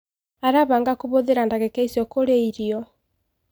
Arabanga kũhuthira dagika icio kũria irĩo